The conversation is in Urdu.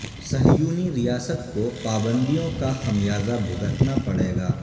صہیونی ریاست کو پابندیوں کا خمیازہ بھگتنا پڑے گا